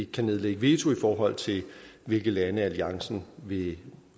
kan nedlægge veto i forhold til hvilke lande alliancen vil